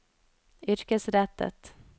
yrkesrettet